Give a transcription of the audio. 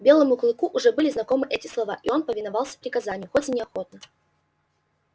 белому клыку уже были знакомы эти слова и он повиновался приказанию хоть и неохотно